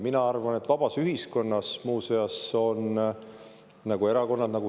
Mina arvan, et vabas ühiskonnas on erakonnad.